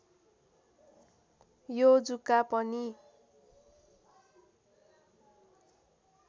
यो जुका पनि